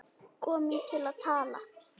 Komin til að tala.